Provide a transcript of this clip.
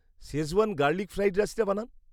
Schezwan garlic fried রাইসটা বানান।